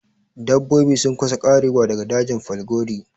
Dabbobi sun kusa ƙarewa daga dajin falgore